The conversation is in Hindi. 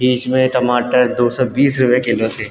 बिच में टमाटर दो सौ बीस रुपये किलो थे।